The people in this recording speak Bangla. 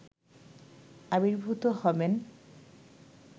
আবির্ভূত হবেন